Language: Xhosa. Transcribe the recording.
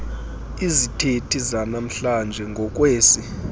izithethi zanamhlanje ngokwesi